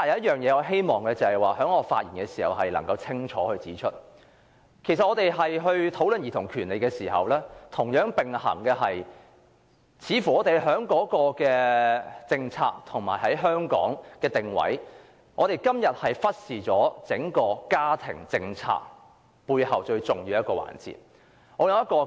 然而，我希望在這次發言中清晰指出，在討論兒童權利的同時，我們也須注意到，在今天的政策及定位方面，香港是忽視了整個家庭政策背後的一個最重要環節。